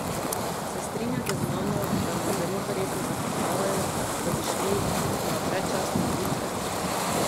Se strinjate z mano, da nas zelo verjetno zafrkavajo, da bi šli na predčasne volitve?